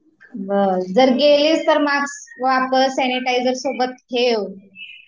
बरं जर गेलीस तर मास्क वापर, सॅनिटायझर सोबत ठेव